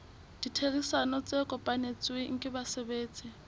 ditherisano tse kopanetsweng ke basebetsi